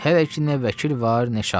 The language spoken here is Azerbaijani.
Hələ ki nə vəkil var, nə şahid.